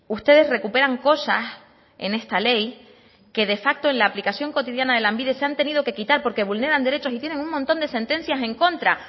ustedes recuperan cosas en esta ley que de facto en la aplicación cotidiana de lanbide se han tenido que quitar porque vulneran derechos y tienen un montón de sentencias en contra